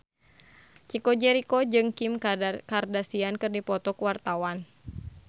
Chico Jericho jeung Kim Kardashian keur dipoto ku wartawan